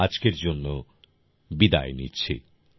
আজকের জন্য বিদায় নিচ্ছি